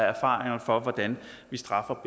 erfaringer for hvordan vi straffer